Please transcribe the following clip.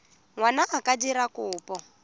ngwana a ka dira kopo